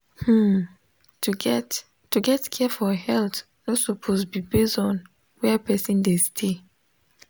hmm to get to get care for health no suppose be base onh where person dey stay.